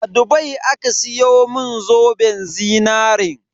A Dubai aka siyo mun zoben zinarin.